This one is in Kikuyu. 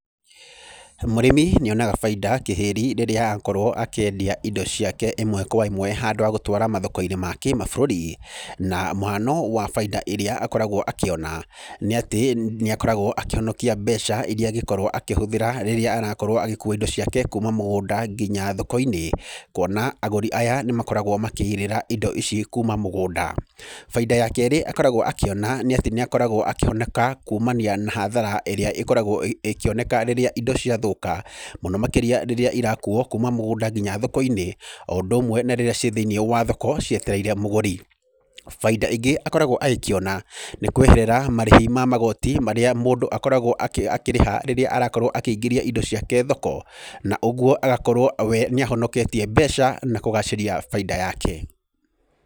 Mũrĩmi nĩonaga baita kĩhĩri rĩrĩa akorwo akĩendia indo ciake ĩmwe kwa ĩmwe handũ ha gũtwara mathokoinĩ ma kĩ-mabũrũri. Na mũhano wa baita iria akoragwo akĩona, nĩ atĩ nĩakoragwo akĩhonokia mbeca iria angĩkorwo akĩhũthĩra rĩrĩa arakorwo agĩkua indo ciake kuuma mũgũnda nginya thoko-inĩ. Kuona agũri aya nĩmakoragwo makĩrĩhĩra indo ici kuuma mũgũnda. Baita ya keeri akoragwo akiona ni atĩ niakoragwo akihonoka kuumania na hathara ĩrĩa ĩkoragwo ĩngĩoneka rĩrĩa indo ciathuka. Mũno makiria rĩrĩa ĩrakuuwo kuuma mũgũnda nginya thoko-inĩ, o ũndũ ũmwe na riria ci thĩini wa thoko cietereire mũgũri. Baita ĩngĩ akoragwo agĩkĩona, nĩ kweherera marĩhi ma magoti marĩa mũndũ akoragwo akĩrĩha rĩrĩa arakorwo akĩigĩria indo ciake thoko. Na ũguo agakorwo we nĩahonoketie mbeca na kũgaciria Baita yake.